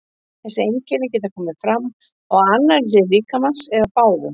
Þessi einkenni geta komið fram á annarri hlið líkamans eða báðum.